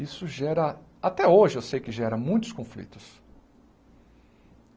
Isso gera, até hoje, eu sei que gera muitos conflitos.